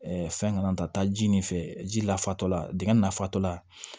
fɛn kana taa ji nin fɛ ji la fatɔ la dingɛ nafala